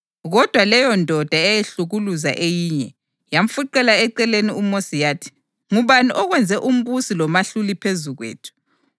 Kodwa leyondoda eyayihlukuluza eyinye, yamfuqela eceleni uMosi yathi, ‘Ngubani okwenze umbusi lomahluli phezu kwethu?